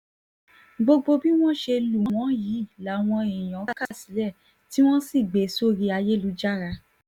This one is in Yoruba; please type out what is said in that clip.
gbogbo bí wọ́n ṣe lù wọ́n yìí làwọn èèyàn kà sílẹ̀ tí wọ́n sì gbé e sórí ayélujára